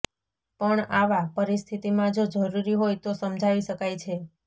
પણ આવા પરિસ્થિતિમાં જો જરૂરી હોય તો સમજાવી શકાય છે